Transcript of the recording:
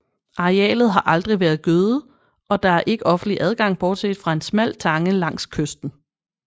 Arealet har aldrig været gødet og der er ikke offentlig adgang bortset fra en smal tange langs kysten